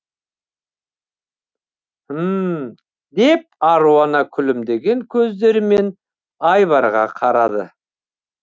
мһм деп аруна күлімдеген көздерімен айбарға қарады